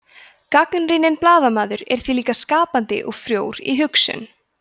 gagnrýninn blaðamaður er því líka skapandi og frjór í hugsun